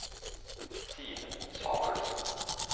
Simen Samuelsen